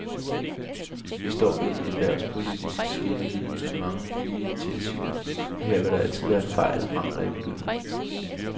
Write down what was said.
Vi står ved en erhvervspolitisk skillelinje med mange nye initiativer, og her vil der altid være fejl og mangler i begyndelsen.